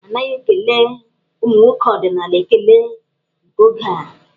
A naghị ekele ụmụ nwoke ọdịnaal ekele nke oge a.